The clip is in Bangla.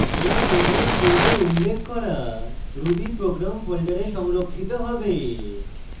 এই program পূর্বে উল্লেখ করা ruby program folder সংরক্ষিত হবে